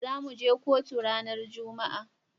Zamu je kotu ranar juma'a.